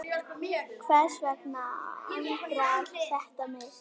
Hvers vegna angrar þetta mig?